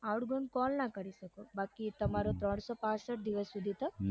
outgoing call ના કરી શકો બાકી તમારો ત્રાન્સોપાંસઠ દિવસ સધી તો